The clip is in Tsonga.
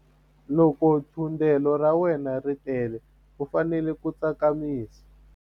Loko thundelo ra wena ri tele u fanele ku tsakamisa.